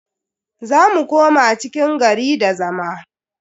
Za mu koma cikin gari da zama.